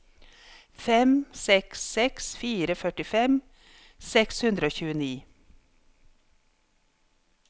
fem seks seks fire førtifem seks hundre og tjueni